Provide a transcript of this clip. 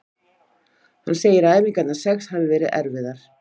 Hann segir að æfingarnar sex hafi verið erfiðar.